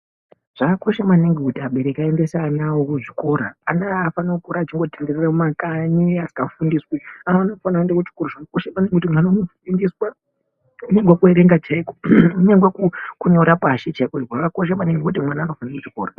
Zvakakosha maningi kuti abereki aendese anao kuzvichikora ana afaniri kukura achingitenderera mumakanyi akafundepi anofana kuenda kuchikora anofundiswa kuerenga chaiko kunyangwe kunyora pashi chaipo zvakakosha maningi ngekuti anofundiswa kuchikora.